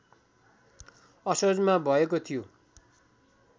असोजमा भएको थियो